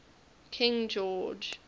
king george